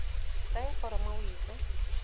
tsaya foromo o e ise